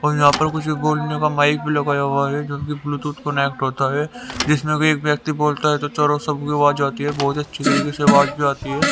और यहां पर कुछ बोलने का माइक भी लगाया हुआ है जोकि ब्लूटूथ कनेक्ट होता है जिसमें कोई एक व्यक्ति बोलता है तो चारों सब की आवाज आती है बहोत अच्छी तरीके से आवाज भी आती है।